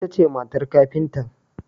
Ita ce matar kafintan.